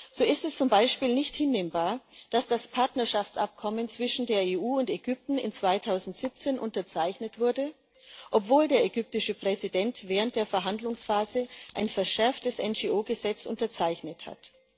So ist es zum Beispiel nicht hinnehmbar, dass das Partnerschaftsabkommen zwischen der EU und Ägypten im Jahr 2017 unterzeichnet wurde, obwohl der ägyptische Präsident während der Verhandlungsphase ein verschärftes NGO Gesetz unterzeichnet hat.